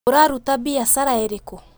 Ũraruta mbiacara ĩrĩkũ?